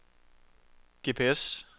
GPS